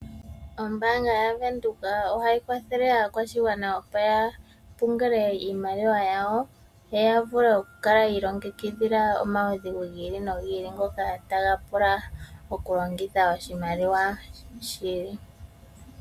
Ombaanga ya Windhoek ohayi kwathele aakwashigwana opo ya pungule koo iimaliwa yawo yoya vule oku kala yiilongekidhila omawudhigu gili no gili ngoka taga pula oshimaliwa shi.